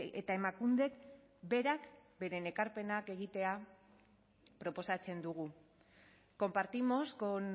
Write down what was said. eta emakundek berak beren ekarpenak egitea proposatzen dugu compartimos con